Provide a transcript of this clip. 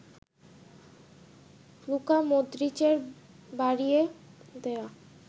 Luka মদ্রিচের বাড়িয়ে দেয়া